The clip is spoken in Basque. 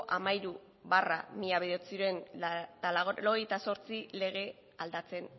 hamairu barra mila bederatziehun eta laurogeita zortzi legea aldatzen